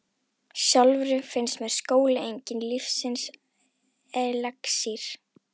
Sjálfri finnst mér skóli enginn lífsins elexír.